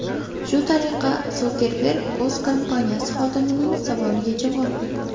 Shu tariqa Sukerberg o‘z kompaniyasi xodimining savoliga javob berdi.